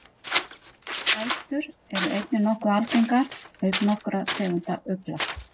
Spætur eru einnig nokkuð algengar auk nokkurra tegunda ugla.